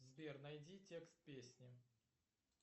сбер найди текст песни